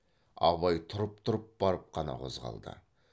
абай тұрып тұрып барып қана қозғалды